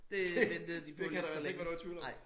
Det ventede de på lidt for længe ej